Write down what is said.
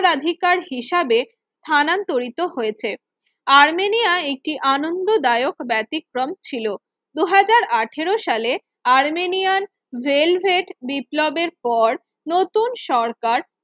অগ্রাধিকার হিসেবে স্থানান্তরিত হয়েছে আর্মেনিয়াএ একটি আনন্দ দায়ক ব্যতিক্রম ছিল দুই হাজার আঠেরো সালে আর্মেনিয়ান ভেলভেট বিপ্লবের পর নতুন সরকার